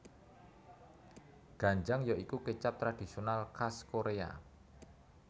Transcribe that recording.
Ganjang ya iku kecap tradisional kas Korea